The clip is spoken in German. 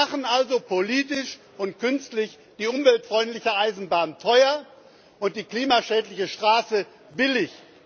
Wir machen also politisch und künstlich die umweltfreundliche Eisenbahn teuer und die klimaschädliche Straße billig.